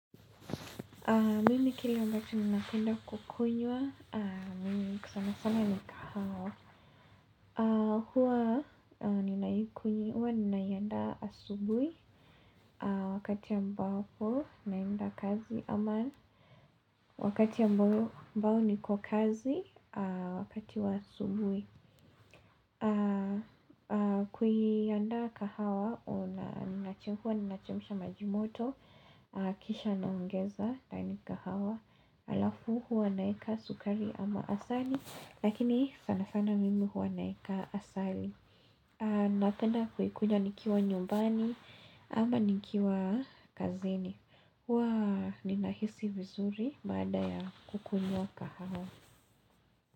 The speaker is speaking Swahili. Mimi kila ambacho ninapenda kukunywa, mimi sana sana ni kahawa Hua ninaikunywa, hua ninaiandaa asubuhi, wakati ambapo naenda kazi ama Wakati ambayo niko kazi, wakati wa asubuhi Kuiandaa kahawa, unachemsha maji moto, kisha heshima, ndani kahawa Alafu huwa naweka sukari ama asali Lakini sana sana mimi huwa naeka asali Napenda kuikunywa nikiwa nyumbani ama nikiwa kazini huwa, ninahisi vizuri baada ya kukunywa kahawa.